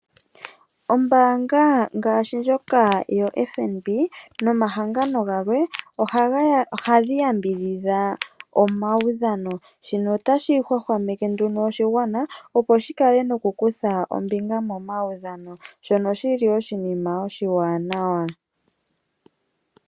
Ombaanga yoFNB nomahangano galwe ohaya yambidhidha omaudhano. Shino otashi hwahwameke oshigwana opo shikale noku kutha ombinga momaudhano na oshi li oshinima oshiwaanawa.